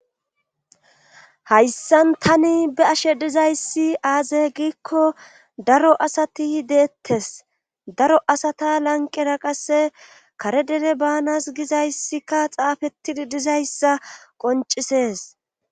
Hayssan tani be'ashe dizayssi aaze giikko daro asati deettes daro asata lanqera qasse kare dere baanas gizayssikka xaafettidi dizayssa qoncisees.